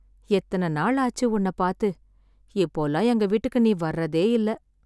எத்தன நாள் ஆச்சு, உன்னப் பாத்து... இப்போலாம் எங்க வீட்டுக்கு நீ வர்றதேயில்ல...